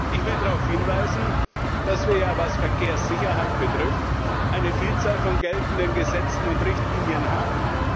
Ich will darauf hinweisen, dass wir, was Verkehrssicherheit betrifft, eine Vielzahl von geltenden Gesetzen und Richtlinien haben.